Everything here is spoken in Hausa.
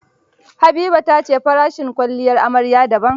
Habiba ta ce farashin kwalliyar amarya daban.